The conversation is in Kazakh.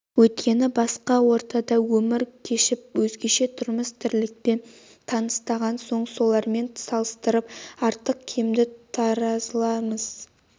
өйткені басқа ортада өмір кешіп өзгеше тұрмыс-тірлікпен тыныстаған соң солармен салыстырып артық-кемді таразылаймыз